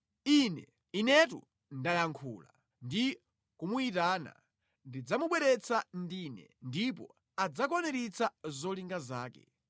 Ine, Inetu, ndayankhula; ndi kumuyitana ndidzamubweretsa ndine ndipo adzakwaniritsa zolinga zake.